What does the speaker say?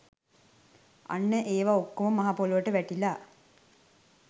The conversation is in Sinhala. අන්න ඒවා ඔක්කොම මහ පොළොවට වැටිලා